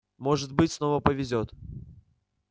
может быть снова повезёт